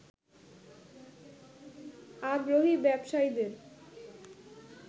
আগ্রহী ব্যবসায়ীদের